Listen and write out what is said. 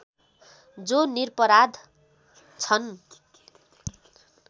जो निरपराध छन्